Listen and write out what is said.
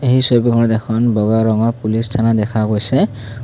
এই ছবিখনত এখন বগা ৰঙৰ পুলিচ থানা দেখা গৈছে।